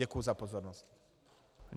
Děkuju za pozornost.